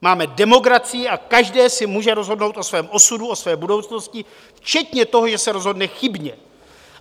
Máme demokracii a každý si může rozhodnout o svém osudu, o své budoucnosti, včetně toho, že se rozhodne chybně.